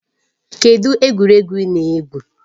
Kedụ egwuregwu ị na-egwu?